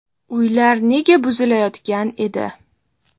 Uylar nega buzilayotgan edi?.